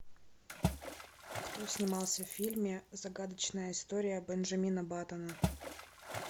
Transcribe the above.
кто снимался в фильме загадочная история бенджамина баттона